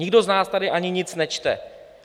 Nikdo z nás tady ani nic nečte.